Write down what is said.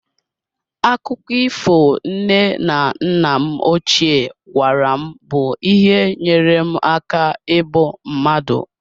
Akụkọ ifo nne na nna m ochie gwara m bụ ihe nyere m aka ibu mmadụ.